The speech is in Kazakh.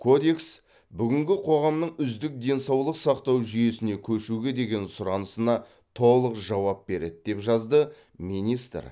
кодекс бүгінгі қоғамның үздік денсаулық сақтау жүйесіне көшуге деген сұранысына толық жауап береді деп жазды министр